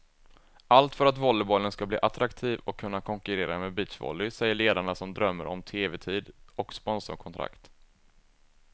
Allt för att volleybollen ska bli attraktiv och kunna konkurrera med beachvolley, säger ledarna som drömmer om tevetid och sponsorkontrakt.